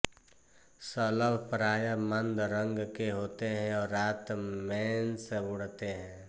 शलभ प्राय मंद रंग के होते हैं और रात मेंश् उड़ते हैं